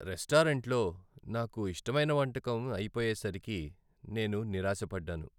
రెస్టారెంట్లో నాకు ఇష్టమైన వంటకం అయిపోయేసరికి నేను నిరాశ పడ్డాను.